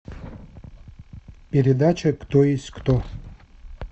передача кто есть кто